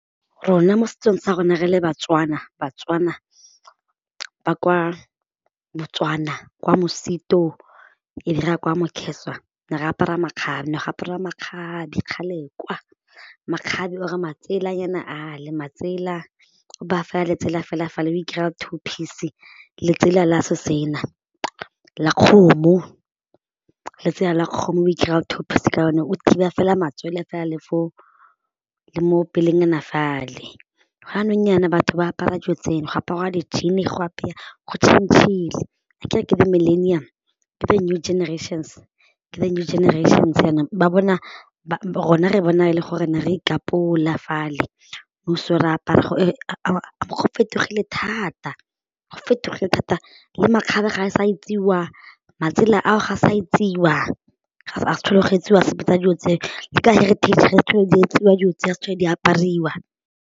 Rona mo setsong sa rona re le Batswana, Batswana ba kwa Botswana kwa Mosito e be re ya kwa Mokheswa ne re apara makgabe, ne go apariwa makgabe kgale kwa, makgabe or matselanyana ale, matsela o baya fela letsela fela fale o two piece letsela la so sena, la kgomo letsela la kgomo o ikirela two piece ka lone o thiba fela matsoele fela le fo le mo pelenyana fale, gone jaanong jaana batho ba apara dio tsena go aparwa di-jean go change-le a kere ke the millennial, ke the new generations, ke the new generations jaanong ba bona, rona re bona e le gore ne re ikapola fale go fetogile thata, go fetogile thata le makgabe ga a sa etsiwa matsela ao ga sa etsiwa ga go sa tlhole go etsiwa sepe sa dilo tseo le ka heritage ga di sa tlhole di etsiwa dilo tse ga di sa tlhole di apariwa.